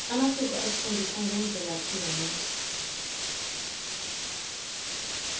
amasiko asifundisa ngemvelaphi yomuntu